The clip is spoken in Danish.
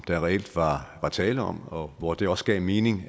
der reelt var tale om og hvor det også gav mening